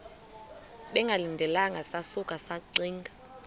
bengalindelanga sasuka saxinga